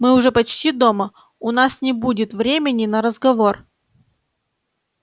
мы уже почти дома у нас не будет времени на разговор